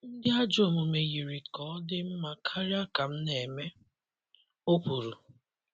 ‘ Ndị ajọ omume yiri ka ọ dị mma karịa ka m na-eme, ’ o kwuru.